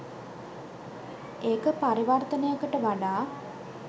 ඒක පරිවර්තනයකට වඩා